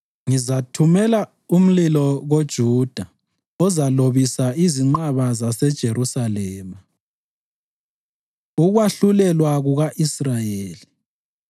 Ngizathumela umlilo koJuda ozalobisa izinqaba zaseJerusalema.” Ukwahlulelwa Kuka-Israyeli